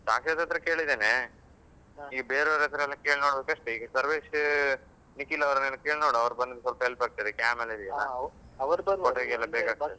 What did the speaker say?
ಸ್ಸಾಕ್ಷಿತ್ ಹತ್ರ ಕೇಳಿದ್ದೇನೆ ಈಗ ಬೆರೆವರತ್ರೆಲ್ಲ ಕೇಳಿ ನೋಡ್ಬೇಕಷ್ಟೆ. ಈಗ ಸರ್ವೇಶ್, ನಿಖಿಲ್ ಅವರನ್ನೆಲ್ಲ ಕೇಳಿ ನೋಡುವ ಅವರು ಬಂದ್ರೆ ಸ್ವಲ್ಪ help ಆಗ್ತದೆ cam ಎಲ್ಲ photo ಗೆಲ್ಲ ಬೇಕಾಗ್ತದೆ.